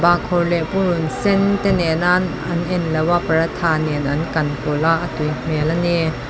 bahkhawr leh purunsen te nena an englo a paratha nen an kan pawlh a a tui hmel a ni.